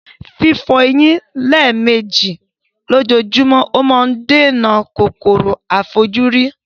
Fífo eyín lémèji lójómó ma n dènà kòkòrò àífojúrí